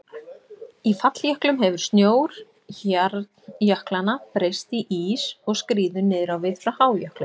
Í falljöklum hefur snjór hjarnjöklanna breyst í ís og skríður niður á við frá hájöklinum.